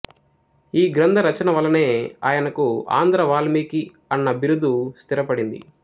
ఈ గ్రంథరచన వల్లనే ఆయనకు ఆంధ్ర వాల్మీకి అన్న బిరుదు స్థిరపడింది